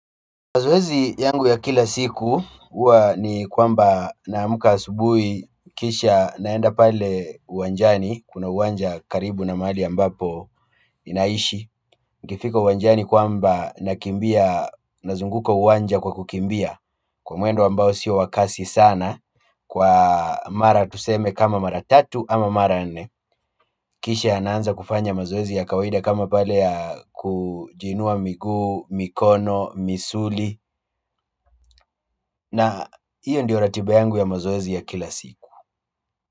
Mazoezi yangu ya kila siku huwa ni kwamba naamka asubuhi, kisha naenda pale uwanjani kuna uwanja karibu na mahali ambapo ninaishi. Nikifika uwanjani kwamba nakimbia, nazunguka uwanja kwa kukimbia kwa mwendo ambao sio wa kasi sana, kwa mara tuseme kama mara tatu ama mara nne kisha naanza kufanya mazoezi ya kawaida kama pale ya kujiinua miguu, mikono, misuli na hiyo ndiyo ratiba yangu ya mazoezi ya kila siku.